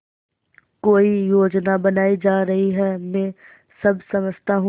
कोई योजना बनाई जा रही है मैं सब समझता हूँ